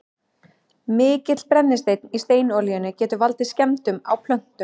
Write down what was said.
mikill brennisteinn í steinolíunni getur valdið skemmdum á plöntunum